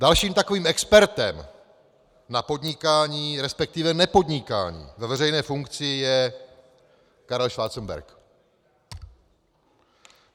Dalším takovým expertem na podnikání, respektive nepodnikání ve veřejné funkci, je Karel Schwarzenberg.